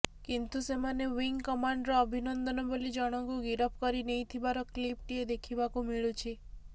କିନ୍ତୁ ସେମାନେ wing commander Abhinandan ବୋଲି ଜଣକୁ ଗିରଫ କରି ନେଇଥିବାର କ୍ଲିପ୍ ଟିଏ ଦେଖିବାକୁ ମିଳୁଛି